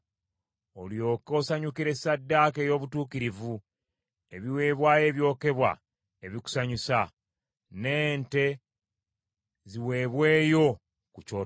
Olyoke osanyukire ssaddaaka ey’obutuukirivu, ebiweebwayo ebyokebwa ebikusanyusa; n’ente ziweebweyo ku kyoto kyo.